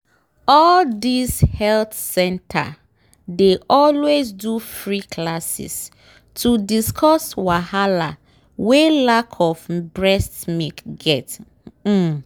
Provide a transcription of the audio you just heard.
all these health center dey always do free classes to discuss wahala wen lack of breast milk get um